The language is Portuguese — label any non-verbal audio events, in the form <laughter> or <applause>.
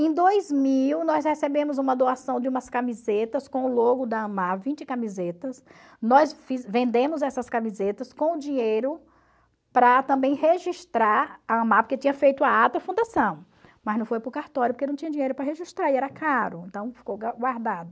Em dois mil nós recebemos uma doação de umas camisetas com o logo da AMAR, vinte camisetas, nós <unintelligible> vendemos essas camisetas com o dinheiro para também registrar a AMAR, porque tinha feito a ata fundação, mas não foi para o cartório porque não tinha dinheiro para registrar e era caro, então ficou guardado.